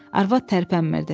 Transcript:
Arvad tərpənmirdi.